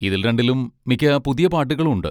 ഇതിൽ രണ്ടിലും മിക്ക പുതിയ പാട്ടുകളും ഉണ്ട്.